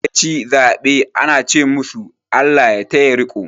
Wanda ya ci zaɓe ana ce masu "ALLAH ya taya riko".